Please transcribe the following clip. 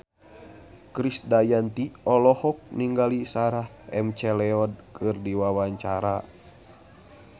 Krisdayanti olohok ningali Sarah McLeod keur diwawancara